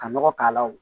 Ka nɔgɔ k'a la wo